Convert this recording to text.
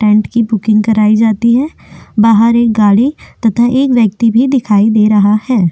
Tent की booking कराई जाती है बाहर एक गाड़ी तथा एक व्यक्ति भी दिखाई दे रहा है।